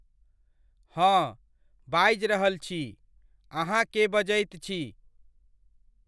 हंँ, बाजि रहल छी, अहाँ केे बजैत छी?